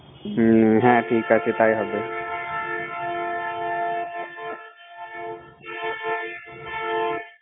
হুম ঠিক আছে তাই হবে